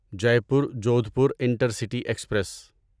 Jaipur Jodhpur intercity express